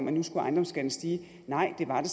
at nu skulle ejendomsskatten stige nej det var det